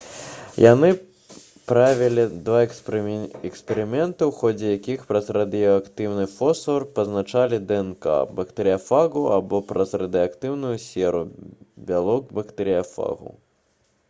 яны правялі два эксперыменты у ходзе якіх праз радыеактыўны фосфар пазначалі днк бактэрыяфагу або праз радыеактыўную серу бялок бактэрыяфагу